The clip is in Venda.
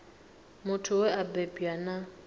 muthu we a bebwa na